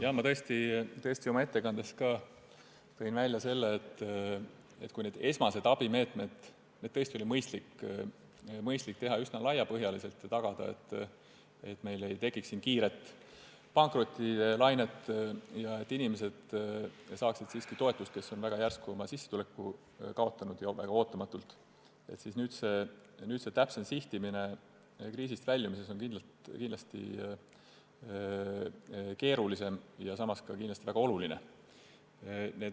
Jah, ma tõesti tõin oma ettekandes välja, et kui esmaseid abimeetmeid oli mõistlik rakendada üsna laiapõhjaliselt, tagamaks, et meil ei tekiks kiiret pankrotilainet ja et inimesed, kes on väga järsku ja ootamatult oma sissetuleku kaotanud, saaksid siiski toetust, siis nüüd on täpsem sihtimine kriisist väljumisel kindlasti keerulisem ja samas väga oluline.